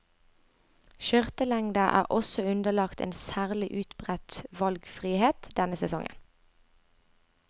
Skjørtelengder er også underlagt en særlig utbredt valgfrihet denne sesongen.